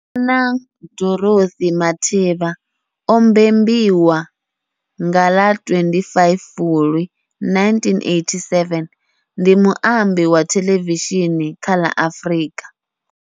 Bonang Dorothy Matheba o mbembiwa nga ḽa 25 Fulwi 1987, ndi muambi wa thelevishini kha la Afrika.